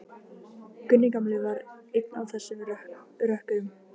Gunni gamli var einn af þessum rökkurum.